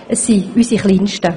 es sind unsere Kleinsten.